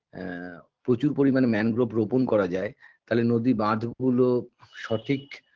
এ প্রচুর পরিমাণে mangrove রোপণ করা যায় তালে নদী বাঁধগুলো সঠিক